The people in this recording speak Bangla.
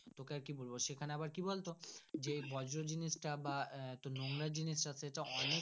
তোকে আর কি বলবো সেখানে আবার কি বলতো যে বজ্যে জিনিস টা বা নোংরা জিনিস টা সে টা ।